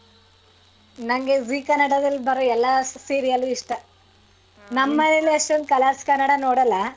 ನಂಗೆ zee ಕನ್ನಡದಲ್ಲಿ ಬರೋ ಎಲ್ಲ serial ಲು ಇಷ್ಟ ನಮ್ ನಮೇಲಿ ಅಷ್ಟ್ colors ಕನ್ನಡ ನೋಡಲ್ಲ.